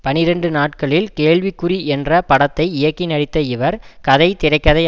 பனிரண்டு நாட்களில் கேள்விக்குறி என்ற படத்தை இயக்கி நடித்த இவர் கதை திரை கதை